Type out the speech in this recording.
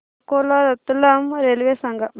Akola Ratlam railway सांगा